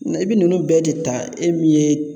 I bɛ ninnu bɛɛ de ta e min ye